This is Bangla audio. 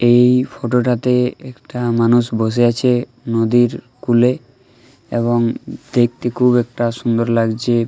এই ফটো টাতে একটা মানুষ বসে আছে নদীর কূলে। এবং দেখতে খুব একটা সুন্দর লাগছে।